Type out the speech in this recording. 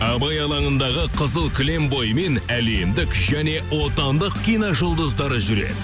абай алаңындағы қызыл кілем бойымен әлемдік және отандық киножұлдыздары жүреді